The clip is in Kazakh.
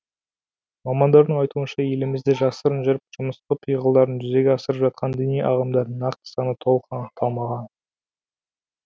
мамандардың айтуынша елімізде жасырын жүріп жымысқы пиғылдарын жүзеге асырып жатқан діни ағымдардың нақты саны толық анықталмаған